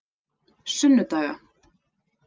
sunnudaga